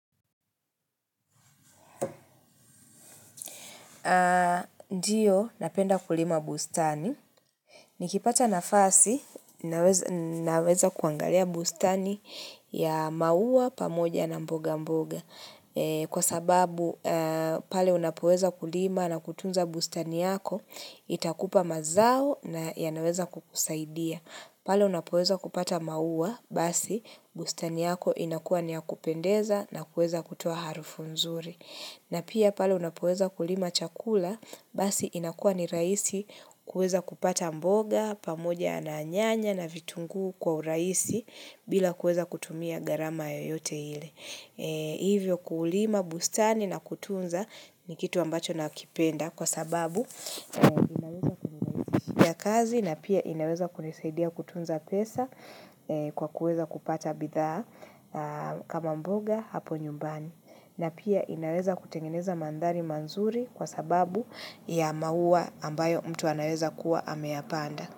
Ndiyo, napenda kulima bustani. Nikipata nafasi, naweza kuangalia bustani ya maua pamoja na mboga mboga. Kwa sababu pale unapoweza kulima na kutunza bustani yako, itakupa mazao na yanaweza kukusaidia. Pale unapoweza kupata maua, basi bustani yako inakuwa ni ya kupendeza na kuweza kutoa harufu nzuri. Na pia pale unapoweza kulima chakula, basi inakuwa ni rahisi kuweza kupata mboga, pamoja na nyanya na vitungu kwa urahisi bila kuweza kutumia garama yeyote ile. Hivyo kulima bustani na kutunza ni kitu ambacho nakipenda kwa sababu inaweza kunirahisishia kazi na pia inaweza kunisaidia kutunza pesa kwa kuweza kupata bidhaa kama mboga hapo nyumbani na pia inaweza kutengeneza mandari mazuri kwa sababu ya maua ambayo mtu anaweza kuwa ameyapanda.